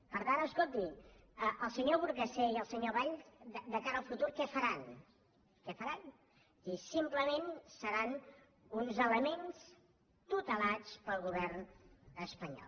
per tant escolti el senyor burgasé i el senyor valls de cara al futur què faran què faran simplement seran un elements tutelats pel govern espanyol